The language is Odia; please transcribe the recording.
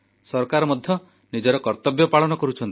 ସରକାର ମଧ୍ୟ ନିଜର କର୍ତ୍ତବ୍ୟ ପାଳନ କରୁଛନ୍ତି